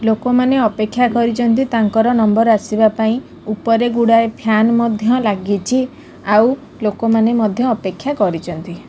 ଲୋକମାନେ ଅପେକ୍ଷା କରିଛନ୍ତି ତାଙ୍କର ନମ୍ବର ଆସିବା ପାଇଁ ଉପରେ ଗୁଡାଏ ଫ୍ୟାନ ମଧ୍ୟ ଲାଗିଛି ଆଉ ଲୋକମାନେ ମଧ୍ୟ ଅପେକ୍ଷା କରିଛନ୍ତି।